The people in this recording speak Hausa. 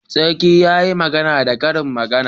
Sarki yayi magana da karin magana